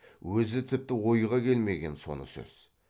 өзі тіпті ойға келмеген соны сөз